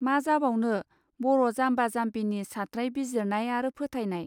मा जाबावनो बर' जामबा जामबिनि सात्राय बिजिरनाय आरो फोथायनाय.